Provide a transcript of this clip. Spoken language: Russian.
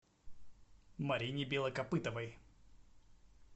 марине белокопытовой